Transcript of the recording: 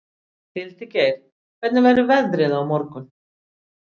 Hildigeir, hvernig verður veðrið á morgun?